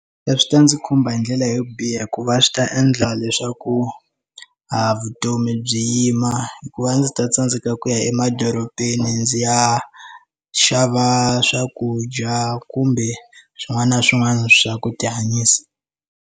Swi ta ndzi khumba hi ndlela yo biha hikuva swi ta endla leswaku a vutomi byi yima hikuva ndzi ta tsandzeka ku ya emadorobeni ndzi ya xava swakudya kumbe swin'wana na swin'wana swa ku tihanyisa.